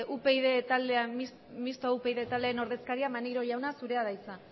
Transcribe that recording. mistoa upyd taldearen ordezkaria maneiro jauna zurea da hitza